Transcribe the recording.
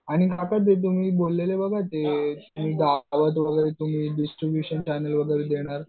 आणि आता ते तुम्ही बोललेले बघा ते तुम्ही डिस्ट्रिब्युशन वगैरे देणार